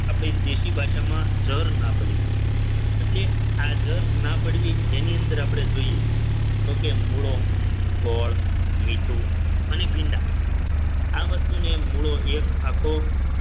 આપણી દેશી ભાષામાં જર ના પડવી એટલે આ જર ના પડવી જેની અંદર આપણે જોઈએ તો કે મૂળો ગોળ મીઠું અને ભીંડા આ વસ્તુને મૂળો એક આખો